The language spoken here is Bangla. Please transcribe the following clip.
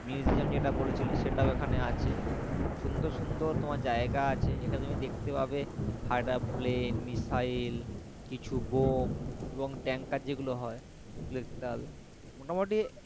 musium যেটা বলেছিলে সেটাও এখানে আছে সুন্দর সুন্দর তোমার জায়গা আছে এটা তুমি দেখতে পাবে plan misaile কিছু bomb এবং tanker যেগুলো হয় সেগুলো দেখতে পাবে মোটামুটি,